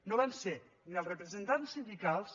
no van ser ni els representants sindicals